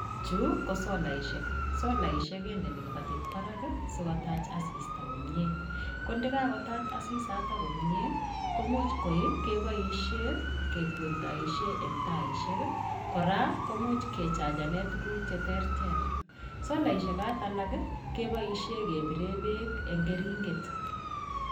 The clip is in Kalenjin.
Chuu ko solaisiek, solaisiek kendeni kipatit barak sikotach asista komnyee, ko ndekakotach asisatak komnyee, komuch koi keboisiyei kekwendoisien enn taisiek, kora komuch kechachenen tuguk cheterter, solaisiek sait alak keboisiyei kebirek bek eng keringet.